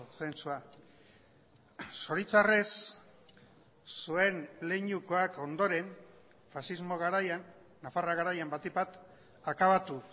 zentzua zoritxarrez zuen leinukoak ondoren faxismo garaian nafarra garaian batik bat akabatu